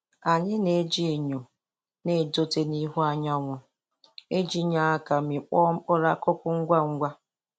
Anyi.na-eji enyo na-edote n'ihu anyanwụ iji nye aka mịkpọọ mkpụrụ akụkụ ngwa ngwa.